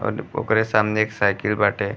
और ओकरे सामने एक साइकिल बाटे।